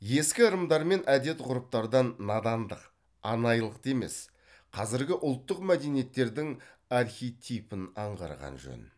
ескі ырымдар мен әдет ғұрыптардан надандық анайылықты емес қазіргі ұлттық мәдениеттердің архетипін аңғарған жөн